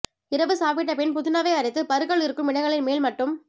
இரவு சாப்பிட்டபின் புதினாவை அரைத்து பருக்கள் இருக்கும் இடங்களின் மேல் மட்டும்